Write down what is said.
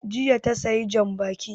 Jiya ta sayi jan baƙi